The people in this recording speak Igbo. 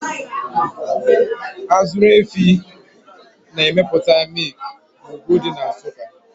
Azụrụ Efi na emepụta mịkna ugwu dị na Nsụka